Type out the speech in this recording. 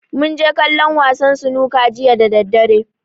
Mun je kallon wasan sunuka jiya da daddare.